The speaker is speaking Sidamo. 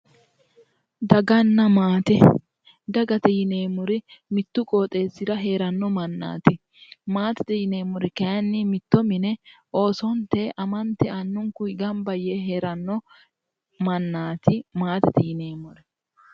Daganna maate dagate yineemori mittu qooxesira heranno manaati maatete yineemor kayinni mitto mine oosonitey amanitey annunikuyi ganibba yee heranno mannaati maatete yineemor